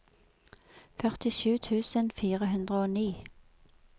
førtisju tusen fire hundre og ni